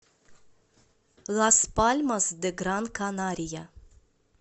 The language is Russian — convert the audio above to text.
лас пальмас де гран канария